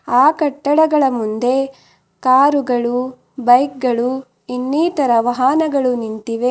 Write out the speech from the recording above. ಆ ಕಟ್ಟಡಗಳ ಮುಂದೆ ಕಾರು ಗಳು ಬೈಕ್ ಗಳು ಇನ್ನೀತರ ವಾಹನಗಳು ನಿಂತಿವೆ.